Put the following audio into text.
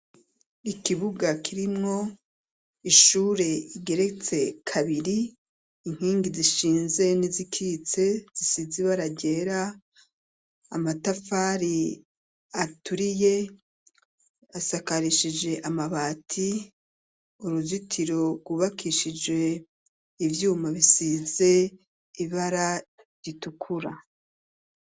Ikibuga kirimwo ishure igeretse kabiri, inkingi zishinze n'izikitse zisize ibara ryera, amatafari aturiye, asakarishije amabati, uruzitiro rwubakishije ivyuma bisize ibara ritukura.